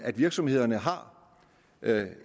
virksomhederne har